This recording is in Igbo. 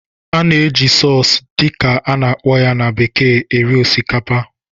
A na-eji "sauce" dị ka a na-akpọ ya na bekee eri osikapa